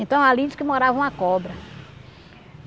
Então, ali diz que morava uma cobra.